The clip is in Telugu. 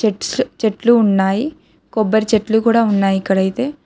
చెట్లు ఉన్నాయి కొబ్బరి చెట్లు కూడా ఉన్నాయి ఇక్కడ అయితే.